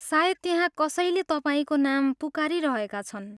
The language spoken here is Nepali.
सायद त्यहाँ कसैले तपाईँको नाम पुकारिरहेका छन्।